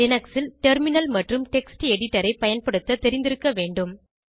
Linux ல் terminal மற்றும் text எடிடரை பயன்படுத்த தெரிந்திருக்க வேண்டும்